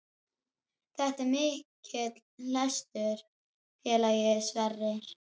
Þetta er mikill lestur, félagi Sverrir.